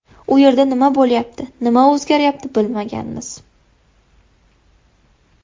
U yerda nima bo‘lyapti, nima o‘zgaryapti bilmaganmiz.